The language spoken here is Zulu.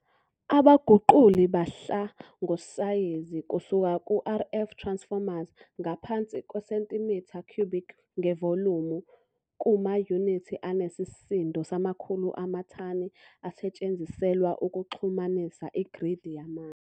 Abaguquli bahla ngosayizi kusuka ku-RF Transformers ngaphansi kwesentimitha cubic ngevolumu, kumayunithi anesisindo samakhulu amathani asetshenziselwa ukuxhumanisa igridi yamandla.